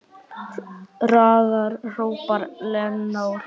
Hraðar, hrópar Lena og hlær.